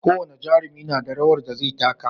Ko wane jarumi nada rawar da zai taka